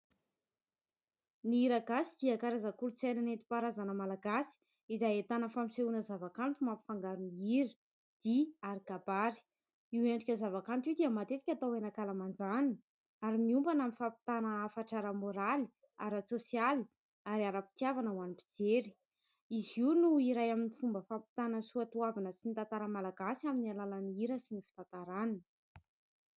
Ny Hira gasy dia karazana kolotsaina netim-paharazana Malagasy izay ahitana fampisehoana zavakanto mampifangaro ny hira dia kabary ; io endrika zavakanto io dia matetika atao eny ankalamanjana ary miompana amin'ny fampitana hafatra ara-moraly, ara-tsosialy ary ara-pitiavana. Ho an'ny mpijery izy io no iray amin'ny fomba fampitana ny soatoavina sy ny tantara Malagasy amin'ny alalan'ny hira sy ny fitantarana.